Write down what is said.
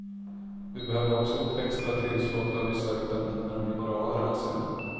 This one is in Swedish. Vi behöver också ett extra tillskott av vissa vitaminer och mineraler, anser han.